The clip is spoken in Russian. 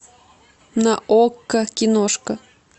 на окко киношка